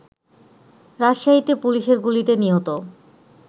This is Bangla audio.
রাজশাহীতে পুলিশের গুলিতে নিহত